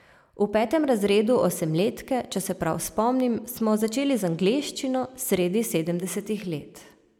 V petem razredu osemletke, če se prav spomnim, smo začeli z angleščino, sredi sedemdesetih let.